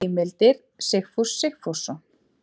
Heimildir Sigfús Sigfússon.